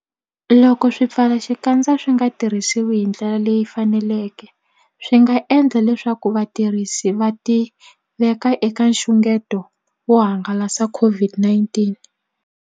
Loko swipfalaxikandza swi nga tirhisiwi hi ndlela leyi faneleke, swi nga endla leswaku vatirhisi va tiveka eka nxungeto wo hangalasa COVID-19.